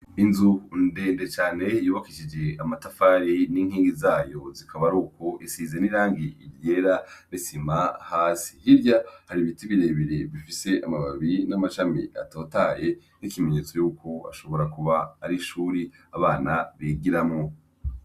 Inzu ndende cane yubakishije amatafari n'inkingi zayo zikabari uku isize n'irangi iryera ritsima hasi hirya hari ibiti birebere bifise amababiri n'amacami atotaye n'ikimenyetso yuko ashobora kuba ari shuri abana begiramwo.